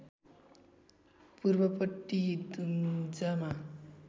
पूर्वपट्टि दुम्जामा